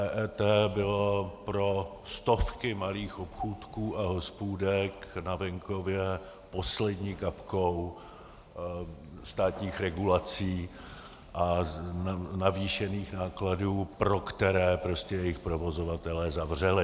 EET bylo pro stovky malých obchůdků a hospůdek na venkově poslední kapkou státních regulací a navýšených nákladů, pro které prostě jejich provozovatelé zavřeli.